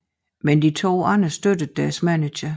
Men de to andre støttede deres manager